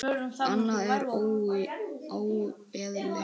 Annað er óeðli.